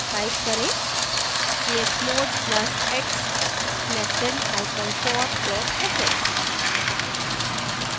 type करें chmod plus + x nestedhyphen for dot sh